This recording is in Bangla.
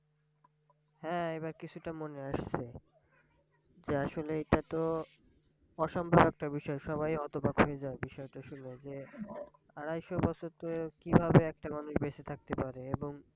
হ্যাঁ! এবার কিছুটা মনে আসসে। যে আসলে এটা তো অসম্ভব একটা বিষয় সবাই হতবাক হয়ে যাবে বিষয়টা শুনে যন, আড়াইশ বছর ধরে কিভাবে একটা মানুষ বেঁচে থাকতে পারে। এবং